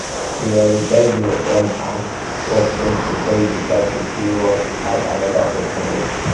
prioritize your own um work first before you decide sey you um wan add anoda person own um